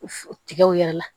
Tigaw yɛrɛ la